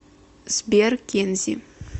сбер кензи